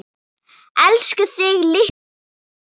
Elska þig litla systir mín.